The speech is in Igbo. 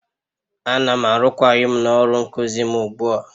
Ana m arụkwaghịm n'ọrụ nkuzi m ugbu a